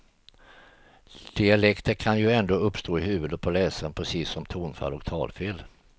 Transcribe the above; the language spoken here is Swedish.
Dialekter kan ju ändå uppstå i huvudet på läsaren precis som tonfall och talfel.